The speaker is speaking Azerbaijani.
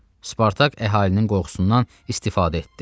Spartak əhalinin qorxusundan istifadə etdi.